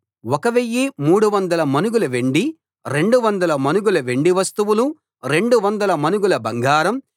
1 300 మణుగుల వెండి 200 మణుగుల వెండి వస్తువులు 200 మణుగుల బంగారం